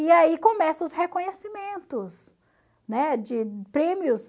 E aí começam os reconhecimentos. Né, de prêmios